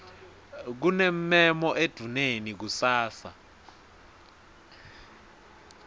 kunemmemo endvuneni kusasa